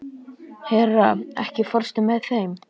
Hera, ekki fórstu með þeim?